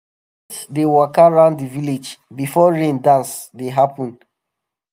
goat dey waka round the village before rain dance dey happen. dey happen.